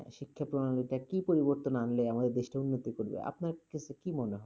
শিক্ষা প্রণালীতে কি পরিবর্তন আনলে আমাদের দেশটা উন্নতি করবে? আপনার এ ক্ষেত্রে কি মনে হয়?